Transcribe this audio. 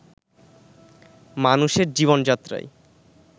মানুষের জীবনযাত্রায়